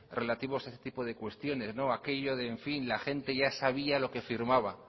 relativos a este tipo de cuestiones no aquello de en fin la gente ya sabía lo que firmaba